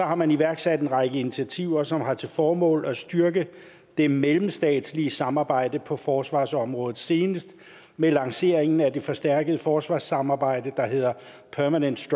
har man iværksat en række initiativer som har til formål at styrke det mellemstatslige samarbejde på forsvarsområdet senest med lanceringen af det forstærkede forsvarssamarbejde der hedder permanent